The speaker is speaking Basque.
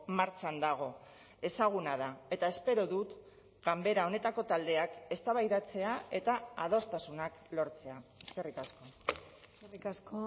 martxan dago ezaguna da eta espero dut ganbera honetako taldeak eztabaidatzea eta adostasunak lortzea eskerrik asko eskerrik asko